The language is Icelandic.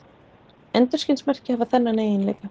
Endurskinsmerki hafa þennan eiginleika.